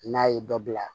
N'a ye dɔ bila